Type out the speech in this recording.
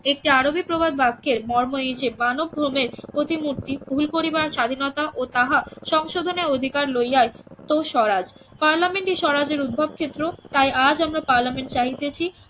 একটি আরবি প্রবাদ বাক্যের মর্ম এই যে মানব ভ্রমের প্রতিমূর্তি ভুল করিবার স্বাধীনতা ও তাহা সংশোধনের অধিকার লইয়া তো স্বরাজ পার্লামেন্টই স্বরাজের উদ্ভব ক্ষেত্র তাই আজ আমরা পার্লামেন্ট চাহিতেছি